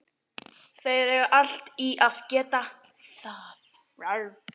Þeir eiga allt í að geta það.